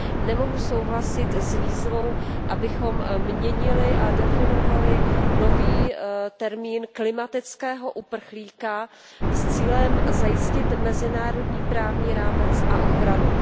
Nemohu souhlasit s výzvou, abychom měnili a definovali nový termín klimatického uprchlíka s cílem zajistit mezinárodní právní rámec a ochranu.